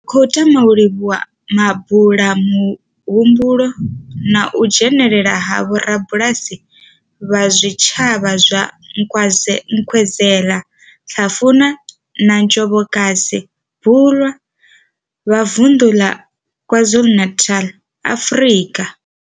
Ri khou tama u livhuwa mabulamuhumbulo na u dzhenela ha vhorabulasi vha zwitshavha zwa Nkwezela, Hlafuna na Njobokazi Bulwer vha vunḓu ḽa KwaZulu-Natal, Afrika.